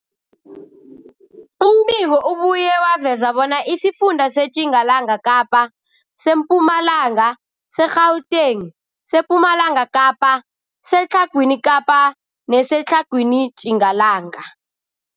Umbiko ubuye waveza bona isifunda seTjingalanga Kapa, seMpumalanga, seGauteng, sePumalanga Kapa, seTlhagwini Kapa neseTlhagwini Tjingalanga.